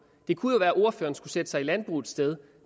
det kunne jo være at ordføreren skulle sætte sig i landbrugets sted